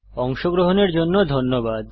অংশগ্রহনের জন্য ধন্যবাদ